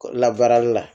Labaarali la